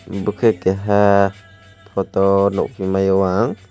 bo khe keiha photo nukgwui maiyo ang.